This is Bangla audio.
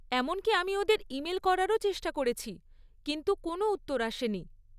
এমনকি আমি ওদের ইমেল করারও চেষ্টা করেছি কিন্তু কোনও উত্তর আসেনি।